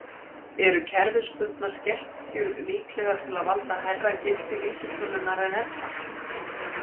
Eru kerfisbundnar skekkjur líklegar til að valda hærra gildi vísitölunnar en ella?